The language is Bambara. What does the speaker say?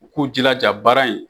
U k'o jilaja baara in